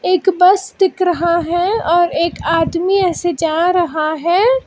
एक बस दिख रहा है और एक आदमी ऐसे जा रहा है।